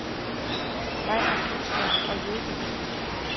Jeg er kunstner og yogi.